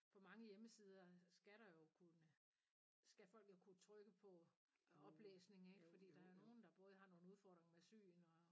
På mange hjemmesider skal der jo kunne skal folk jo kunne trykke på oplæsning ikke fordi der er jo nogle der både har nogle udfordringer med syn og